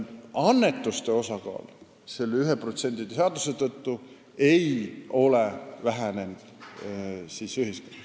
Annetuste osakaal ei ole 1% seaduse tõttu ühiskonnas vähenenud.